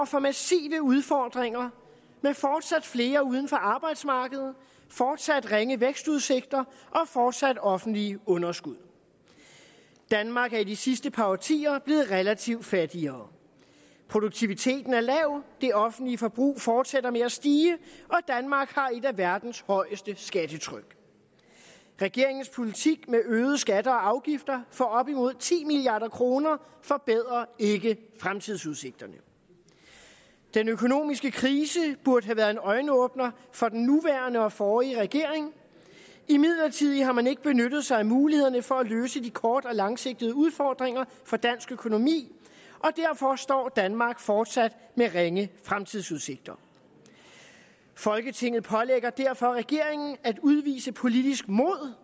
for massive udfordringer med fortsat flere uden for arbejdsmarkedet fortsat ringe vækstudsigter og fortsatte offentlige underskud danmark er de sidste par årtier blevet relativt fattigere produktiviteten er lav det offentlige forbrug fortsætter med at stige og af verdens højeste skattetryk regeringens politik med øgede skatter og afgifter for op mod ti milliard kroner forbedrer ikke fremtidsudsigterne den økonomiske krise burde have været en øjenåbner for den nuværende og forrige regering imidlertid har man ikke benyttet sig af mulighederne for at løse de kort og langsigtede udfordringer for dansk økonomi og derfor står danmark fortsat med ringe fremtidsudsigter folketinget pålægger derfor regeringen at udvise politisk mod og